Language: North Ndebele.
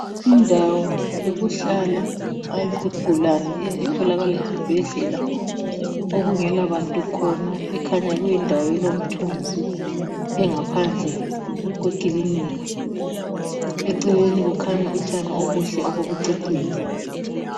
Indawo yokuhlala izigulane etholakala esibhedlela okungela bantu khona ikhanya kuyindawo elomthunzi ingaphandle kwekilinika eceleni kukhanya utshani obuhle obokucecisa.